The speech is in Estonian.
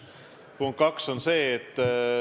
Punkt 2.